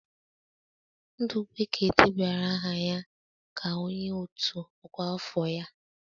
Ndukwe ka debanyere aha ya ka onye otu ọkwa afọ ya.